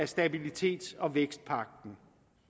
stabilitets og vækstpagten